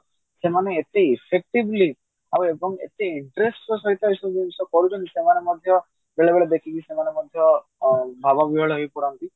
ସେମାନେ ଏତେ effectively ଆଉ ଏତେ interest ର ସହିତ ଏଇ ସବୁ ଜିନିଷ ଯୋଉ କରୁଛନ୍ତି ବେଳେବେଳେ ଦେଖିକି ସେମାନେ ମଧ୍ୟ ଭାବ ହେଇ ପଡନ୍ତି